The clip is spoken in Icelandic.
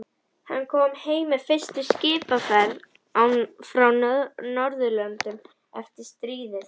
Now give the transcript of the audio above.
Hann kom heim með fyrstu skipsferð frá Norðurlöndum eftir stríðið.